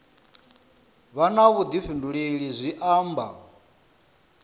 vha na vhuḓifhinduleli zwi amba